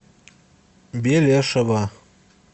белешева